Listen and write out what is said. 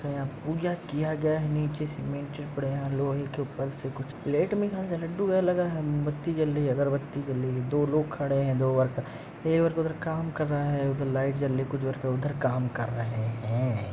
पूजा किया गया है। नीचे सीमेंट है। लोहे के ऊपर से कुछ प्लेट में कहाँ से लड्डू वै लगा है। मोमबत्ती जल रही है। अगरबत्ती जल रही है। दो लोग खड़े हैं दो वर्कर । एक वर्कर उधर काम कर रहा है। उधर लाइट जल रही है कुछ वर्कर उधर काम कर रहे हैं।